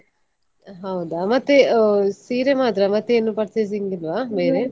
ಹೌದಾ ಮತ್ತೆ ಸೀರೆ ಮಾತ್ರ ಮತ್ತೆ ಏನು purchasing ಇಲ್ವಾ ಬೇರೆ?